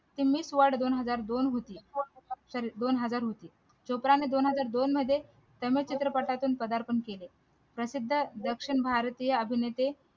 ती miss world दोन हजार दोन होती sorry दोन हजार होती चोपडा ला दोन हजार दोन मध्ये चित्रपटातून प्रधारपण केले प्रसिद्ध दक्षिण भारतीय अभिनेते